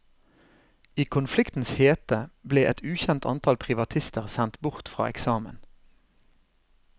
I konfliktens hete ble et ukjent antall privatister sendt bort fra eksamen.